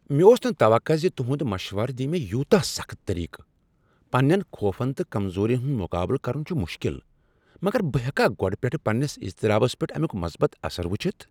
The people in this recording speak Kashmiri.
مےٚ اوس نہٕ توقع ز تہند مشورٕ دیہ مےٚ یوتاہ سخت طریقہٕ۔ پننین خوفن تہٕ کمزورین ہند مقابلہٕ کرن چھ مشکل، مگر بہٕ ہیکا گۄڈٕ پیٹھٕ پننس اضطرابس پیٹھ امیک مثبت اثر وُچھتھ۔